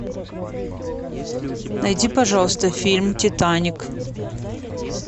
найди пожалуйста фильм титаник